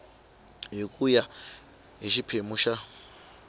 hi ku ya hi xiphemu